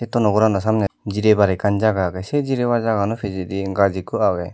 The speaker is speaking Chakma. tuno gor no saney jiraybar akkan jaga agey se jirabar jagano pejendi gaj ekkho agey.